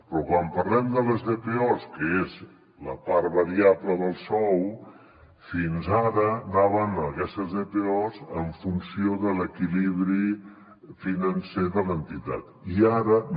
però quan parlem de les dpos que és la part variable del sou fins ara anaven aquestes dpos en funció de l’equilibri financer de l’entitat i ara no